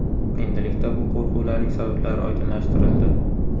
Endilikda bu qo‘rquvlarning sabablari oydinlashtirildi.